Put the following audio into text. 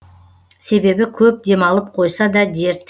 себебі көп демалып қойса да дерт